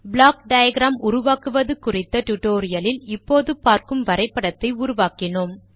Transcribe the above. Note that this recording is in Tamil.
ப்ளாக் டயாகிராம் உருவாக்குவது குறித்த டியூட்டோரியல் லில் இப்போது பார்க்கும் வரைபடத்தை உருவாக்கினோம்